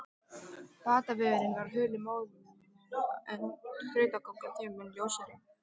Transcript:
Batavegurinn var hulinn móðu en þrautagangan þeim mun ljósari.